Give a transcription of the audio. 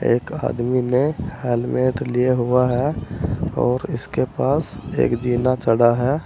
एक आदमी ने हेलमेट लिया हुआ है और इसके पास एक जीना चढ़ा है।